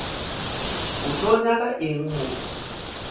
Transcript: o tlo nyaka eng mo